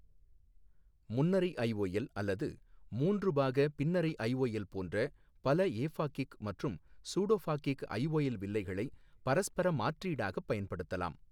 முன்னறை IOL அல்லது மூன்று பாக பின்னறை ஐஓஎல் போன்ற பல ஏஃபாகிக் மற்றும் சூடோஃபாகிக் ஐஓஎல் வில்லைகளை பரஸ்பர மாற்றீடாகப் பயன்படுத்தப்படலாம்.